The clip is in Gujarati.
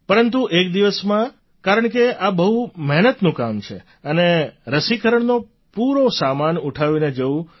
પરંતુ એક દિવસમાં કારણકે આ બહુ મહેનતનું કામ છે અને રસીકરણનો પૂરો સામાન ઉઠાવીને જવું